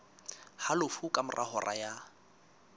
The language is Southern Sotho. halofo ka mora hora ya